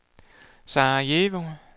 Sarajevo